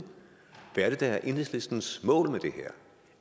hvad der er enhedslistens mål med det her